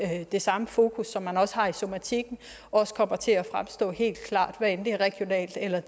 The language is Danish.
have det samme fokus som man har i somatikken også kommer til et fremstå helt klart hvad end det er regionalt eller